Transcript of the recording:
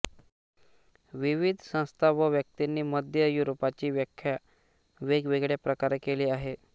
विविध संस्था व व्यक्तींनी मध्य युरोपची व्याख्या वेगवेगळ्या प्रकारे केली आहे